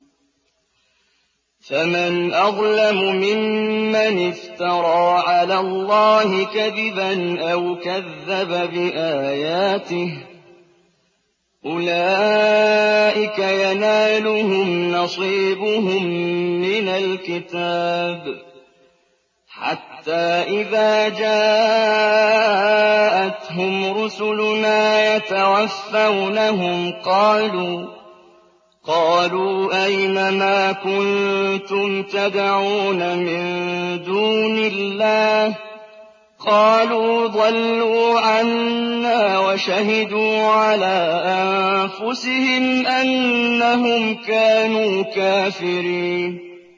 فَمَنْ أَظْلَمُ مِمَّنِ افْتَرَىٰ عَلَى اللَّهِ كَذِبًا أَوْ كَذَّبَ بِآيَاتِهِ ۚ أُولَٰئِكَ يَنَالُهُمْ نَصِيبُهُم مِّنَ الْكِتَابِ ۖ حَتَّىٰ إِذَا جَاءَتْهُمْ رُسُلُنَا يَتَوَفَّوْنَهُمْ قَالُوا أَيْنَ مَا كُنتُمْ تَدْعُونَ مِن دُونِ اللَّهِ ۖ قَالُوا ضَلُّوا عَنَّا وَشَهِدُوا عَلَىٰ أَنفُسِهِمْ أَنَّهُمْ كَانُوا كَافِرِينَ